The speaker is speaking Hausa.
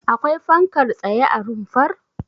Akwai fankar tsaye a rumfar?